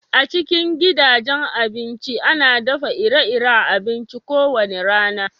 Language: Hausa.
A cikin gidajen abinci, ana daffa ire-iren abinci ko wani rana.